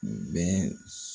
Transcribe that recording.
Nin bɛɛ